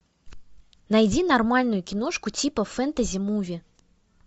найди нормальную киношку типа фэнтези муви